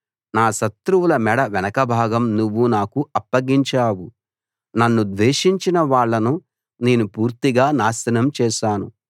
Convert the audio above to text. నా శత్రువుల మెడ వెనుకభాగం నువ్వు నాకు అప్పగించావు నన్ను ద్వేషించిన వాళ్ళను నేను పూర్తిగా నాశనం చేశాను